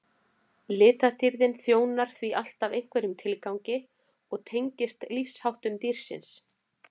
litadýrðin þjónar því alltaf einhverjum tilgangi og tengist lífsháttum dýrsins